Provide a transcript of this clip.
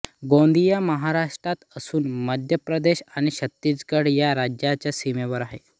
गोंदिया महाराष्ट्रात असून मध्यप्रदेश आणि छत्तीसगड या राज्यांच्या सीमेवर आहे